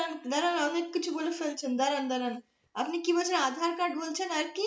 দাঁড়ান অনেক কিছু বলে ফেলছেন দাঁড়ান দাঁড়ান আপনি কি বলছেন aadhaar card বলছেন আর কি?